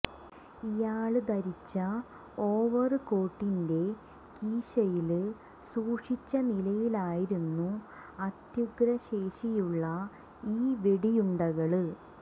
ഇയാള് ധരിച്ച ഓവര് കോട്ടിന്റെ കീശയില് സൂക്ഷിച്ച നിലയിലായിരുന്നു അത്യുഗ്രശേഷിയുള്ള ഈ വെടിയുണ്ടകള്